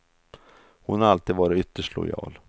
Hon har alltid varit ytterst lojal.